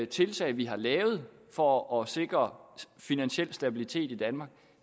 tiltag vi har lavet for at sikre finansiel stabilitet i danmark